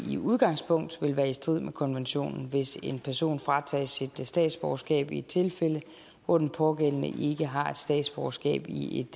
i udgangspunktet vil være i strid med konventionen hvis en person fratages sit statsborgerskab i et tilfælde hvor den pågældende ikke har statsborgerskab i et